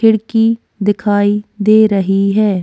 खिड़की दिखाई दे रही है।